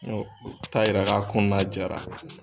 u taa yir'a la k'a ko na jara